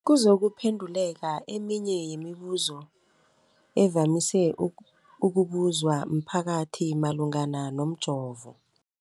kuzokuphe nduleka eminye yemibu zo evamise ukubuzwa mphakathi malungana nomjovo.